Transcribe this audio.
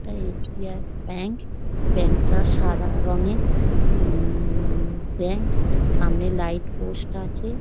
এটা SBI. Bank bank টা সাদা রঙের উম ব্যাঙ্ক সামনে লাইট পোস্ট আছে।